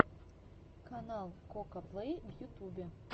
канал кокаплей в ютюбе